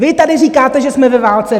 Vy tady říkáte, že jsme ve válce.